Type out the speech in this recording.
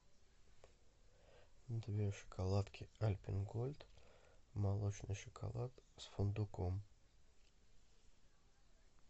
две шоколадки альпен гольд молочный шоколад с фундуком